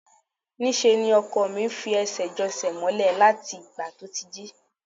Níṣe ni ọkọ mi ń fi ẹsẹ̀ jan ẹsẹ̀ mọ́lẹ̀ láti ìgbà tí ó ti jí